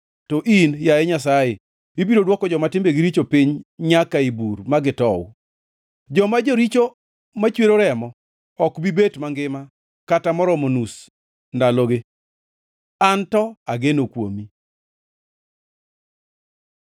To in, yaye Nyasaye, ibiro dwoko joma timbegi richo piny nyaka ei bur ma gitow; joma joricho machwero remo ok bi bet mangima kata moromo nus ndalogi. An to ageno kuomi.